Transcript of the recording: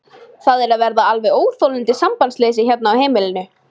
Það er að verða alveg óþolandi sambandsleysi hérna á heimilinu!